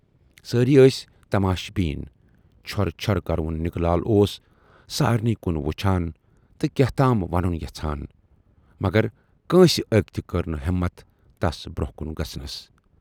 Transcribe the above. سٲری ٲس تماش بیٖن۔ چھۅرٕ چھۅرٕ کرٕوُن نِکہٕ لال اوس سارِنٕے کُن وُچھان تہٕ کیاہتام ونُن یَژھان مگر کٲنسہِ ٲکۍ تہِ کٔر نہٕ ہٮ۪متھ تس برونہہ کُن گژھنَس۔